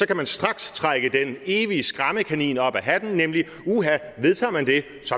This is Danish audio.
kan man straks trække den evige skræmmekanin op ad hatten nemlig uha vedtager man det